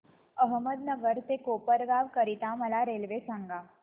अहमदनगर ते कोपरगाव करीता मला रेल्वे सांगा